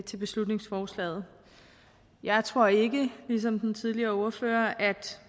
til beslutningsforslaget jeg tror ikke ligesom den tidligere ordfører at